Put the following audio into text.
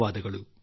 ನಮಸ್ಕಾರ